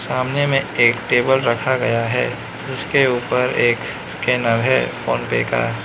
सामने में एक टेबल रखा गया है जिसके ऊपर एक स्कैनर है फोनपे का।